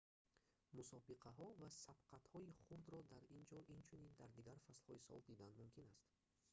мусобиқаҳо ва сабқатҳои хурдро дар ин ҷо инчунин дар дигар фаслҳои сол дидан мумкин аст